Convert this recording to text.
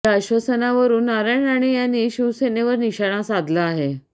या अश्वसानावरून नारायण राणे यांनी शिवसेनेवर निशाणा साधला आहे